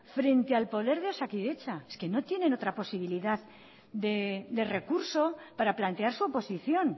frente al poder de osakidetza es que no tiene otra posibilidad de recurso para plantear su oposición